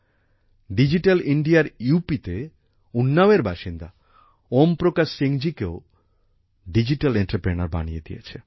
digital ইন্ডিয়ার UPতে উন্নাও এর বাসিন্দা ওম প্রকাশ সিং জি কে ও ডিজিটাল এন্টারপ্রেনিউর বানিয়ে দিয়েছে